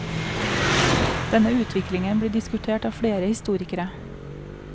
Denne utviklingen blir diskutert av flere historikere.